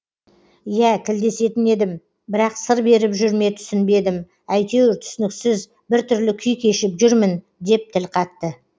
иә тілдесетін едім бірақ сыр беріп жүр ме түсінбедім әйтеуір түсініксіз біртүрлі күй кешіп жүрмін деп тіл қатты